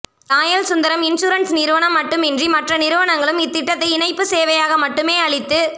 Royal Sundaram insurance நிறுவனம் மட்டுமின்றி மற்ற நிறுவனங்களும் இத்திட்டத்தை இணைப்பு சேவையாக மட்டுமே அளித்து